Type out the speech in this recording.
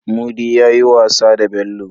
Mudi yayi wasa da Bello